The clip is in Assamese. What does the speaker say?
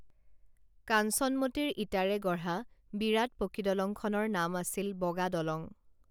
কাঞ্চনমতীৰ ইটাৰে গঢ়া বিৰাট পকীদলংখনৰ নাম আছিল বগা দলং